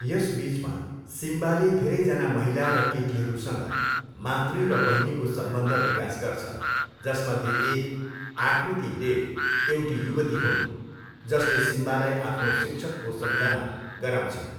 यसबिचमा, सिम्बाले धेरैजना महिला र केटीहरूसँग मातृ र बहिनीको सम्बन्ध विकास गर्छ, जसमध्ये एक आकृती डेभ, एउटी युवती हुन्, जसले सिम्बालाई आफ्नो शिक्षकको सम्झना गराउँछिन्।